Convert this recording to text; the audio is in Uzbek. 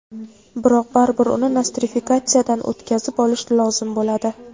Biroq baribir uni nostrifikatsiyadan o‘tkazib olish lozim bo‘ladi.